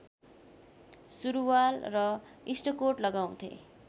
सुरुवाल र इस्टकोट लगाउँथे